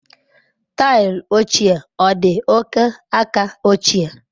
Taịlị ochie ọ dị oke aka ochie?